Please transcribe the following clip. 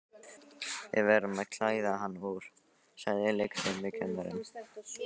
Við verðum að klæða hana úr, sagði leikfimikennarinn.